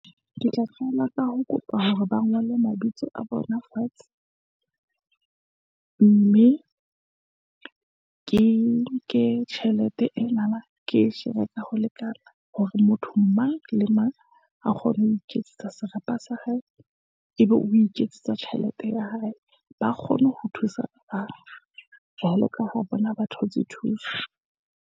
Ke tla qala ka ho kopa hore ba ngolle mabitso a bona fatshe, mme ke nke tjhelete enana, ke e shera ka ho lekan, a hore motho mang le mang a kgone ho iketsetsa serapa sa hae, ebe o iketsetsa tjhelete ya hae. Ba kgone ho thusaba bang, jwalo ka ha bona ba thotse thuso.